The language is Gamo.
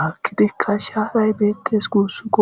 hakkidikka shaaray beettes guussuko.